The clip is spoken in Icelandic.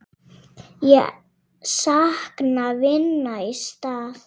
Ég sakna vinar í stað.